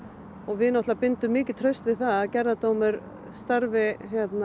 við bindum mikið traust við það að gerðardómur starfi